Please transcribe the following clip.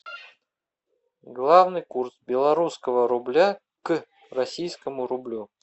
главный курс белорусского рубля к российскому рублю